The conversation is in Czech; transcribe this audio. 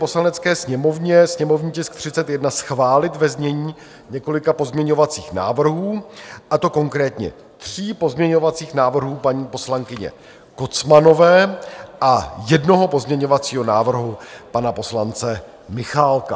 Poslanecké sněmovně sněmovní tisk 31 schválit ve znění několika pozměňovacích návrhů, a to konkrétně tří pozměňovacích návrhů paní poslankyně Kocmanové a jednoho pozměňovacího návrhu pana poslance Michálka.